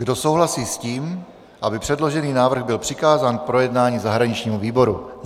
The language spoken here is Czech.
Kdo souhlasí s tím, aby předložený návrh byl přikázán k projednání zahraničnímu výboru?